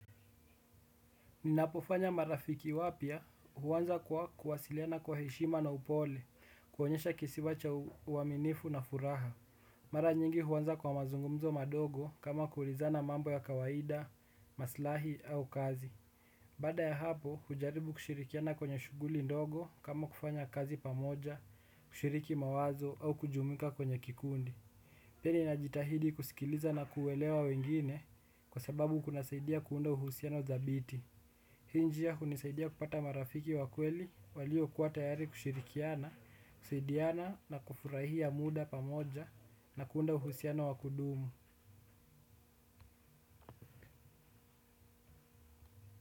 Ninapofanya marafiki wapya huanza kwa kuwasiliana kwa heshima na upole, kuonyesha kisiwa cha uaminifu na furaha. Mara nyingi huanza kwa mazungumzo madogo kama kuulizana mambo ya kawaida, maslahi au kazi. Baada ya hapo hujaribu kushirikiana kwenye shughuli ndogo kama kufanya kazi pamoja, kushiriki mawazo au kujumuika kwenye kikundi. Pili najitahidi kusikiliza na kuelewa wengine kwa sababu kunasaidia kuunda uhusiano thabiti. Hii njia hunisaidia kupata marafiki wa kweli waliokuwa tayari kushirikiana, kusaidiana na kufurahia muda pamoja na kuunda uhusiano wa kudumu.